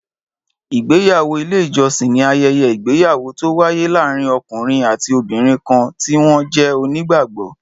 Ìgbéyàwó ilé ìjọsìn ni ayẹyẹ ìgbéyàwó to waye láàárín ọkùnrin àti obìnrin kan ti wọn jẹ́ onígbàgbọ